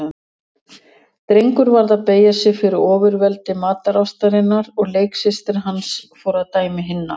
Drengur varð að beygja sig fyrir ofurveldi matarástarinnar og leiksystir hans fór að dæmi hinna.